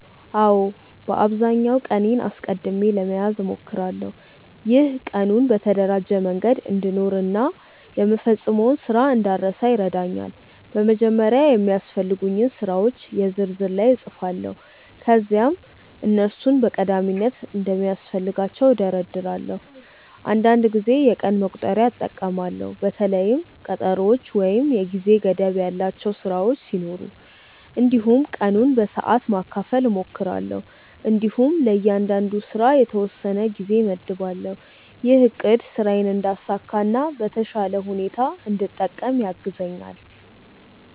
አዎ፣ በአብዛኛው ቀኔን አስቀድሜ ለመያዝ እሞክራለሁ። ይህ ቀኑን በተደራጀ መንገድ እንድኖር እና የምፈጽመውን ስራ እንዳልረሳ ይረዳኛል። በመጀመሪያ የሚያስፈልጉኝን ስራዎች የ ዝርዝር ላይ እጻፋለሁ ከዚያም እነሱን በቀዳሚነት እንደሚያስፈልጋቸው እደርዳለሁ። አንዳንድ ጊዜ የቀን መቁጠሪያ እጠቀማለሁ በተለይም ቀጠሮዎች ወይም የጊዜ ገደብ ያላቸው ስራዎች ሲኖሩ። እንዲሁም ቀኑን በሰዓት ማካፈል እሞክራለሁ እንዲሁም ለእያንዳንዱ ስራ የተወሰነ ጊዜ እመድባለሁ። ይህ አቅድ ስራዬን እንዳሳካ እና ቀኑን በተሻለ ሁኔታ እንድጠቀም ያግዛኛል።